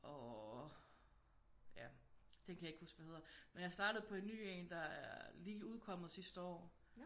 Og ja den kan jeg ikke huske hvad hedder men jeg startede på en ny en der er lige udkommet sidste år